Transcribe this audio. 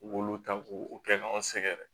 U k'olu ta k'u kɛ k'an sɛgɛrɛ